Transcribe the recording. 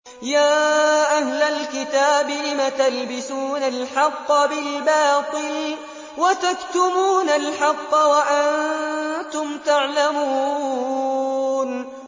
يَا أَهْلَ الْكِتَابِ لِمَ تَلْبِسُونَ الْحَقَّ بِالْبَاطِلِ وَتَكْتُمُونَ الْحَقَّ وَأَنتُمْ تَعْلَمُونَ